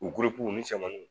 U u ni cɛmannunw